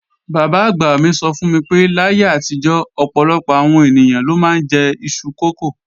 Bàbá àgbà mi sọ fún mi pé láyé àtijọ́, ọ̀pọ̀lọpọ̀ àwọn ènìyàn ló máa ń jẹ iṣu kókò